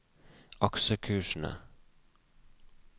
aksjekursene